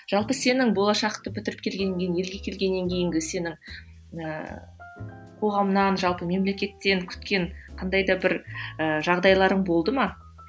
жалпы сенің болашақты бітіріп келгеннен кейін елге келгеннен кейінгі сенің ііі қоғамнан жалпы мемлекеттен күткен қандай да бір і жағдайларың болды ма